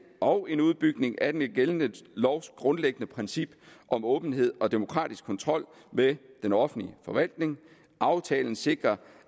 og en udbygning af den gældende lovs grundlæggende princip om åbenhed og demokratisk kontrol med den offentlige forvaltning aftalen sikrer